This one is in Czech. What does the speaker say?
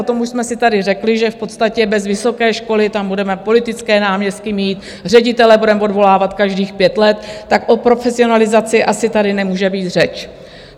O tom už jsme si tady řekli, že v podstatě bez vysoké školy tam budeme politické náměstky mít, ředitele budeme odvolávat každých pět let, tak o profesionalizaci asi tady nemůže být řeč.